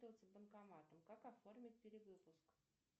банкомат как оформить перевыпуск